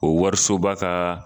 O warisoba ka